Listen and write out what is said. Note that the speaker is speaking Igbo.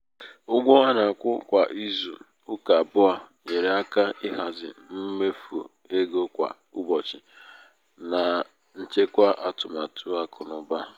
ụgwọ ana-akwụ kwa ịzụ ụka abụọ nyere aka ịhazi mmefu égo kwa ụbọchị na na nchekwa atụmatụ akụnaụba.